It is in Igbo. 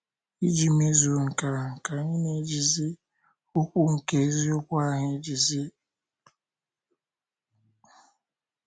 Iji mezuo nke ahụ, ka anyị na - ejizi okwu nke eziokwu ahụ ejizi. ”